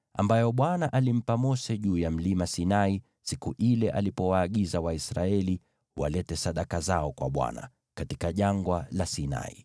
ambayo Bwana alimpa Mose juu ya Mlima Sinai siku ile alipowaagiza Waisraeli walete sadaka zao kwa Bwana , katika Jangwa la Sinai.